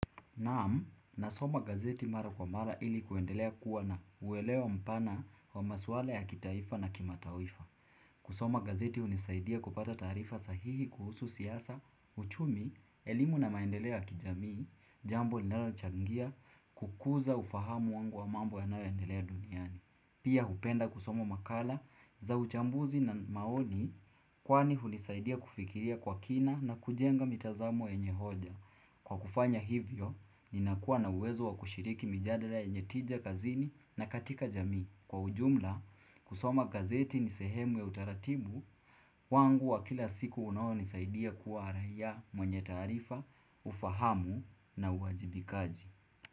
Naam, nasoma gazeti mara kwa mara ili kuendelea kuwa na uelewa mpana wa maswala ya kitaifa na kimatawifa. Kusoma gazeti unisaidia kupata tarifa sahihi kuhusu siasa, uchumi, elimu na maendeleoya kijamii, jambo li nalochangia, kukuza ufahamu wangu wa mambo ya nayoendelea duniani. Pia hupenda kusoma makala za uchambuzi na maoni kwani unisaidia kufikiria kwa kina na kujenga mitazamo yenyehoja. Kwa kufanya hivyo, ninakuwa na uwezo wa kushiriki mijadara yenye tija kazini na katika jamii. Kwa ujumla, kusoma gazeti ni sehemu ya utaratibu, wangu wa kila siku unao nisaidia kuwa raia mwenye taarifa, ufahamu na uwajibikaji.